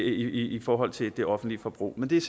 i forhold til det offentlige forbrug men det er